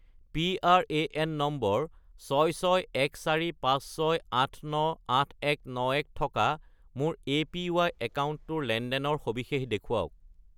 PRAN number 661456898191 থকা মোৰ APY একাউণ্টটোৰ লেনদেনৰ সবিশেষ দেখুৱাওক